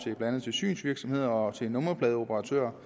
andet synsvirksomheder og til nummerpladeoperatører